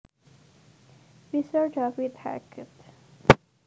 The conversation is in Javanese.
Fischer David Hackett